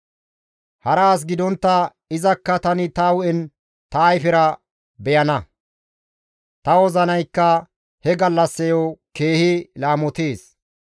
Hara as gidontta izakka tani ta hu7en ta ayfera beyana; ta wozinayakka he gallassayo keehi laamotees.